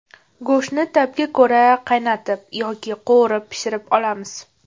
Go‘shtni ta’bga ko‘ra qaynatib yoki qovurib pishirib olamiz.